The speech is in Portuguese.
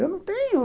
Eu não tenho.